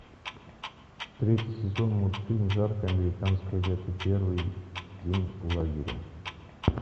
третий сезон мультфильм жаркое американское лето первый день лагеря